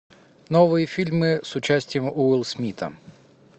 новые фильмы с участием уилл смита